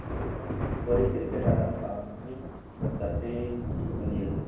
கோரி cricket ஆட்டம் தானே ஒரு சர்ச்சையை உண்டுபண்ணியது